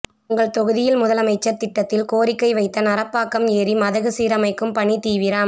உங்கள் தொகுதியில் முதலமைச்சர் திட்டத்தில் கோரிக்கை வைத்த நரப்பாக்கம் ஏரி மதகு சீரமைக்கும் பணி தீவிரம்